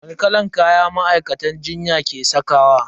Wani kalan kaya ma'aikatan jinya ke sakawa?